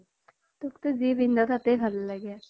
তোক তো যি পিন্ধ তাকেই ভাল লাগে